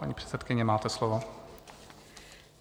Paní předsedkyně, máte slovo.